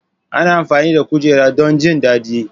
Ana amfani da kujera don jin daɗi.